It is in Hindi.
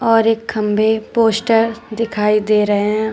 और एक खंभे पोस्टर दिखाई दे रहे हैं।